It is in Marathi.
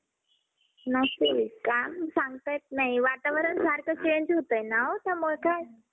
नसेल. काही सांगता येत नाही. वातावरण सारखं change होतंय ना. त्यामुळं काय